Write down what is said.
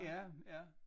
Ja ja